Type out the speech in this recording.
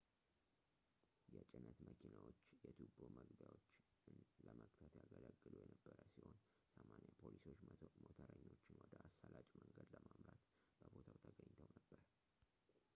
የጭነት መኪናዎች የቱቦ መግቢያዎች ን ለመግታት ያገለግሉ የነበረ ሲሆን 80 ፖሊሶች ሞተረኞችን ወደ አሳላጭ መንገድ ለመምራት በቦታው ተገኝተው ነበር